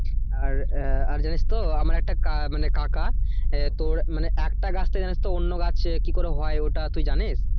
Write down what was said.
আর আহ আর জানিস তো আমার একটা কা মানে কাকা আহ তোর মানে একটা গাছ থেকে জানিস তো অন্য গাছ কি করে হয় ওটা তুই জানিস?